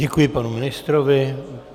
Děkuji panu ministrovi.